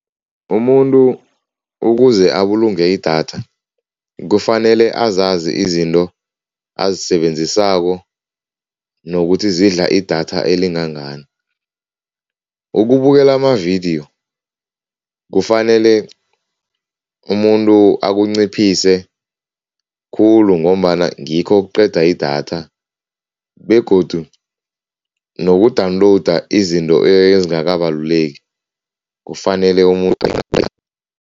Umuntu ukuze abulunge idatha, kufanele azazi izinto azisebenzisako nokuthi zidla idatha elingangani. Ukubukela amavidiyo kufanele umuntu akunciphise khulu ngombana ngikho okuqeda idatha begodu noku-download izinto ezingakabaluleki kufanele umuntu